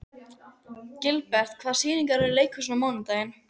Gilbert, hvaða sýningar eru í leikhúsinu á mánudaginn?